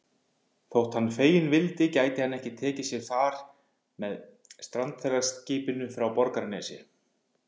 Þótt hann feginn vildi gæti hann ekki tekið sér fari með strandferðaskipinu frá Borgarnesi.